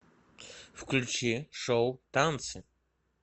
включи шоу танцы